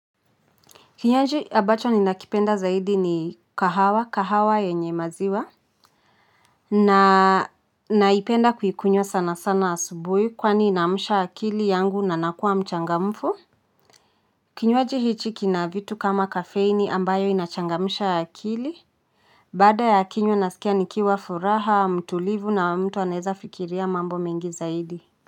Kinywaji abacho ninakipenda zaidi ni kahawa kahawa yenye maziwa. Na naipenda kuhikunywa sana sana asubui kwani inamusha akili yangu na nakua mchangamfu. Kinywaji hichi kina vitu kama kafeini ambayo inachangamusha akili. Baada ya kinywa nasikia nikiwa furaha mtulivu na mtu aneza fikiria mambo mingi zaidi. Muziki.